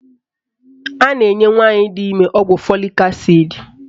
A na-enye nwaanyị di ime ọgwụ fọlik asid